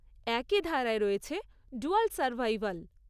একই ধারায় রয়েছে 'ডুয়াল সারভাইভাল'।